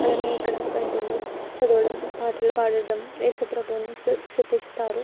అలానే ఇక్కడ బైబిలు చదవడం పాటలు పాడడం యేసు ప్రభువుని సు సుతిస్తారు.